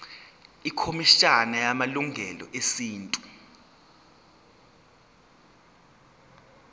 ikhomishana yamalungelo esintu